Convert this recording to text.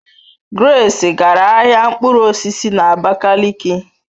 Grace gara ahia mkpụrụ osisi na Abakaliki